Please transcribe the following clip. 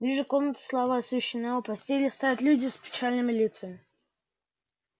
вижу комната слабо освещена у постели стоят люди с печальными лицами